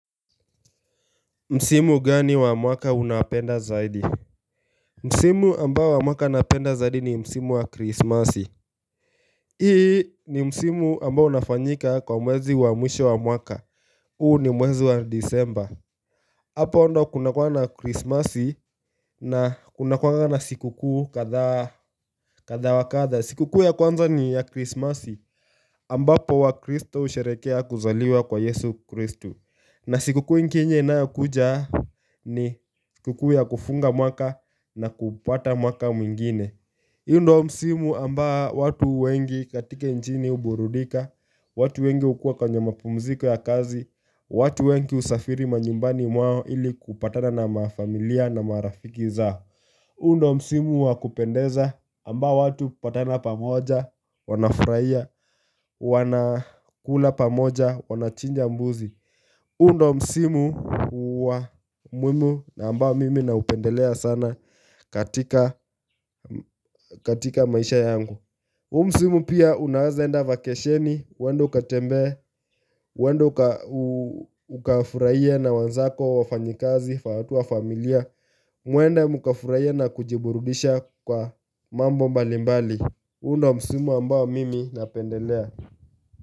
Msimu gani wa mwaka unapenda zaidi? Msimu ambao wa mwaka napenda zaidi ni msimu wa krismasi hii ni msimu ambao unafanyika kwa mwezi wa mwisho wa mwaka huu ni mwezi wa Disemba Hapo ndio kunakua na krismasi na kunakua na siku kuu kadhaa kadha wa kadha siku kuu ya kwanza ni ya krismasi ambapo wakristo husherehekea kuzaliwa kwa yesu kristo na siku kuu nyingine inayokuja ni siku kuu ya kufunga mwaka na kupata mwaka mwingine huu ndio msimu ambao watu wengi katika nchini huburudika watu wengi hukua kwenye mapumziko ya kazi watu wengi husafiri manyumbani mwao ili kupatana na mafamilia na marafiki zao huu ndio msimu wa kupendeza ambao watu hupatana pamoja Wanafurahia wanakula pamoja wanachinja mbuzi huu ndio msimu wa muhimu na ambao mimi naupendelea sana katika katika maisha yangu huu msimu pia unaweza enda vakesheni uende ukatembee uende ukafurahie na wenzako wafanyakazi watu wa familia Muende mukafurahie na kujiburudisha kwa mambo mbalimbali huu ndio msimu ambao mimi napendelea.